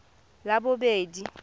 labobedi